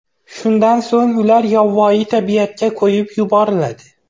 Shundan so‘ng ular yovvoyi tabiatga qo‘yib yuboriladi.